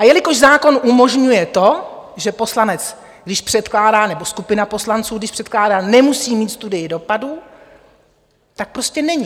A jelikož zákon umožňuje to, že poslanec, když předkládá, nebo skupina poslanců, když předkládá, nemusí mít studii dopadu, tak prostě není.